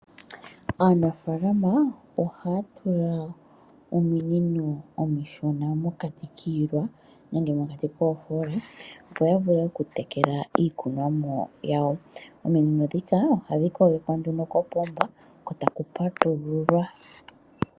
Aanafalama ohaya tula ominino omishona mokati kiilwa, nenge mokati koofoola, opo yavule okutekela iikunomwa yawo. Ominino ndhika ohadhi kogekwa nduno kopomba, ko taku patululwa.